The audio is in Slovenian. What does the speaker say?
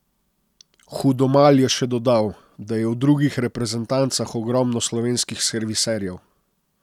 Hudomalj je še dodal, da je v drugih reprezentancah ogromno slovenskih serviserjev.